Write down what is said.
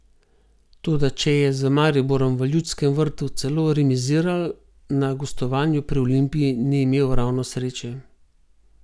Toda če je z Mariborom v Ljudskem vrtu celo remiziral, na gostovanju pri Olimpiji ni imel ravno sreče.